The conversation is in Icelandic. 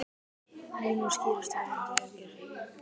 Línur skýrast varðandi aðgerðir